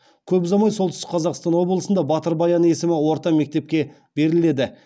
көп ұзамай солтүстік қазақстан облысында батыр баян есімі орта мектепке беріледі